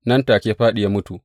Nan take ya fāɗi, ya mutu.